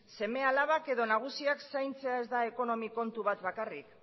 seme alabak edo nagusiak zaintzeak ez da ekonomi kontu bat bakarrik